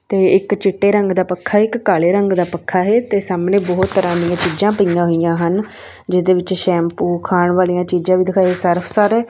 ਤੇ ਇੱਕ ਚਿੱਟੇ ਰੰਗ ਦਾ ਪੱਖਾ ਇੱਕ ਕਾਲੇ ਰੰਗ ਦਾ ਪੱਖਾ ਹੈ ਤੇ ਸਾਹਮਣੇ ਬਹੁਤ ਤਰ੍ਹਾਂ ਦੀਆਂ ਚੀਜ਼ਾਂ ਪਈਆਂ ਹੋਈਆਂ ਹਨ ਜਿਹਦੇ ਵਿੱਚ ਸ਼ੈਮਪੂ ਖਾਣ ਵਾਲੀਆਂ ਚੀਜ਼ਾਂ ਦਿਖਾਈ ਸਰਫ ਸਾਰੇ --